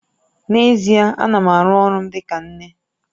N'ezie, ana m aru ọrụ m dịka nne